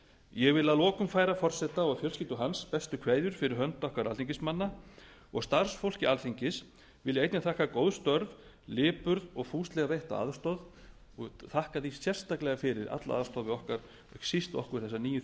ég vil að lokum færa forseta og fjölskyldu bestu kveðjur fyrir hönd okkar alþingismanna og starfsfólki alþingis vil ég einnig þakka góð störf lipurð og fúslega veitta aðstoð og þakka því sérstaklega fyrir alla aðstoð við ekki síst okkur þessa nýju